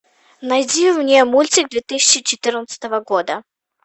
найди мне мультик две тысячи четырнадцатого года